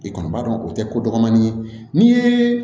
I kɔni b'a dɔn o tɛ ko dɔgɔnin ye ni ye